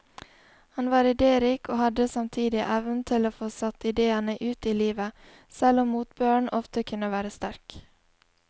Han var idérik og hadde samtidig evnen til å få satt idéene ut i livet, selv om motbøren ofte kunne være sterk.